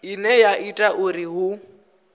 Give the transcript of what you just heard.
ine ya ita uri hu